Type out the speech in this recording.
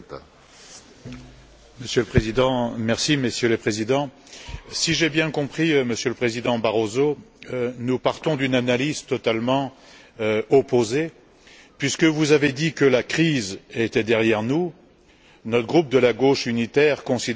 Monsieur le Président, Messieurs les Présidents, si j'ai bien compris, Monsieur le Président Barroso, nous partons d'une analyse totalement opposée puisque vous avez dit que la crise était derrière nous, alors que notre groupe de la Gauche unitaire considère plutôt qu'elle s'aggrave.